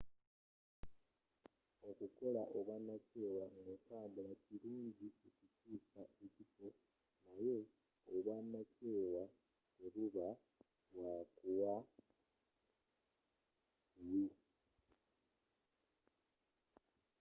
okukola obwanakyewa ng'otambula kirungi okukyuusa ekifo naye obwanakyewa tebuba bwakuwa buwi